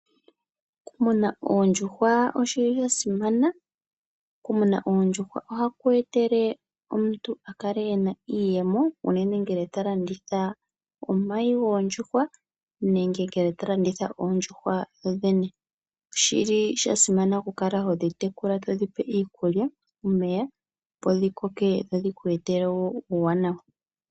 Okumuna oondjuhwa oshili shasimana, okumuna oondjuhwa oha kweetele omuntu okale ena iiyemo, unene ngele ta landitha omayi goondjuhwa nenge ngele to landitha oondjuhwa dhodhene, oshili shasimana oku kala todhi tekula todhipe iikulya nomeya opo dhikoke dho dhikweetele uuwanawa.